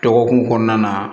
Dɔgɔkun kɔnɔna na